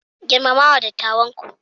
Girmama wa dattawanku.